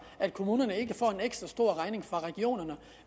at kommunerne ikke får en ekstra stor regning fra regionerne